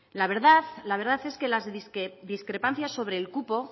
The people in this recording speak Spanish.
la verdad es que las discrepancias sobre el cupo